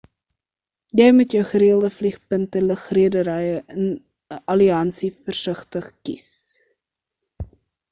jy moet jou gereelde vliegpunte lugredery in 'n alliansie versigtig kies